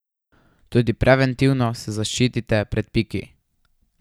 Tudi preventivno se zaščitite pred piki.